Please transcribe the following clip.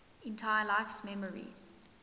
entire life's memories